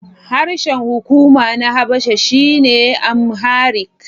Harshen hukuma na Habasha shine Amharic.